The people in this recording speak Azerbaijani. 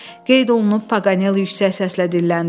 Qeyd olunub, Paqanel yüksək səslə dilləndi.